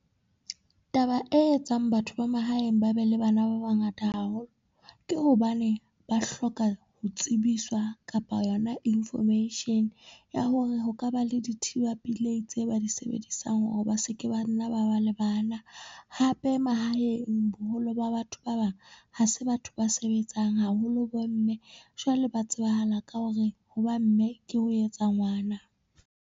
Taba e etsang batho ba mahaeng ba be le bana ba bangata haholo ke hobane ba hloka ho tsebiswa kapa yona information, ya hore ho ka ba le dithiba pelei tse ba di sebedisang hore ba se ke ba nna ba ba le bana. Hape mahaeng boholo ba batho ba bang ha se batho ba sebetsang haholo bo mme, jwale ba tsebahala ka hore ho ba mme ke ho etsa ngwana.